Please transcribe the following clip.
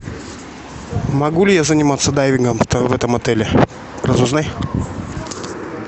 могу ли я заниматься дайвингом в этом отеле разузнай